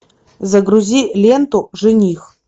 загрузи ленту жених